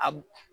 A